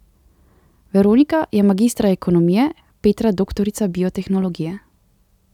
Veronika je magistra ekonomije, Petra doktorica biotehnologije.